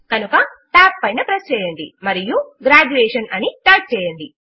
కనుక TAB పైన press చేయండి మరియు గ్రాడ్యుయేషన్ అని టైప్ చేయండి